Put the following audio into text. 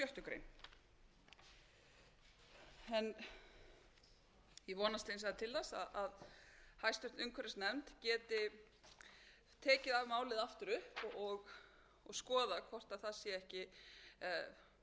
sjöttu grein ég vonast hins vegar til þess að hæstvirtur umhverfisnefnd geti tekið af málið aftur upp og skoðað hvort það sé yrði málinu eða lögunum mjög